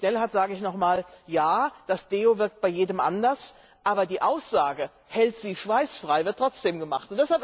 Dem Kollegen Schnellhardt sage ich nochmals Ja, das Deo wirkt bei jedem anders, aber die Aussage Hält Sie schweißfrei wird trotzdem gemacht.